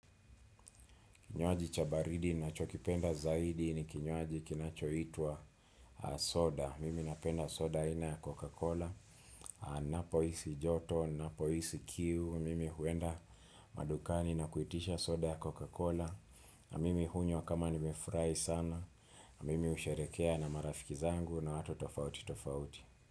Kinywaji cha baridi ninachokipenda zaidi ni kinywaji kinachoitwa soda. Mimi napenda soda aina ya Coca-Cola. Ninapo hisi joto, ninapo hisi kiu. Mimi huenda madukani na kuitisha soda ya coca-Cola. Na mimi hunywa kama nimefurahi sana. Mimi husherehekea na marafiki zangu na watu tofauti tofauti.